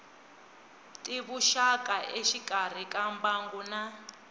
tivuxaka exikarhi ka mbangu na